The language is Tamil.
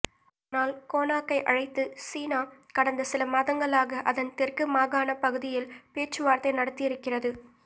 ஆனால் கோனாக்கை அழைத்து சீனா கடந்த சில மாதங்களாக அதன் தெற்கு மாகாணப் பகுதியில் பேச்சுவார்த்தை நடத்தி இருக்கிறது